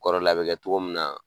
Kɔrɔlen a bɛ kɛ togo min na